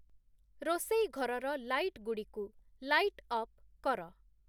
ରୋଷେଇ ଘରର ଲାଇଟ୍‌ଗୁଡ଼ିକୁ ଲାଇଟ୍‌ ଅପ୍‌ କର